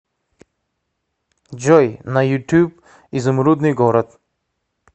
джой на ютуб изумрудный город